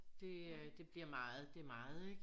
Det øh det bliver meget det meget ikke